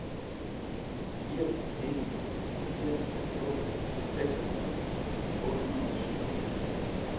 fire en fire to seksogfyrre otte hundrede og syvogfirs